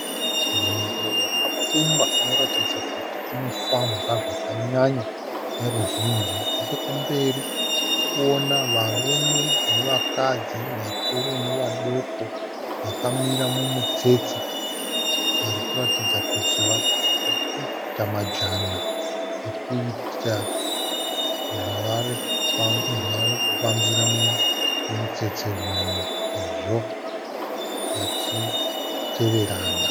Nzvimbo yakapfumba inoratidza kuti inofambwa zvakanyanya neruzhinji nechekumberi tiri kuona varume nevakadzi vakuru nevadoko vakamira mumutsetse varikuratidza kuti vari kuita majana ekuita zvavari kufambira mumutsetse umu sezvo vachiteverana.